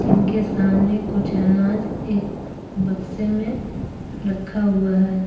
जिनके सामने कुछ अनाज एक बक्से में रखा हुआ है ।